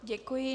Děkuji.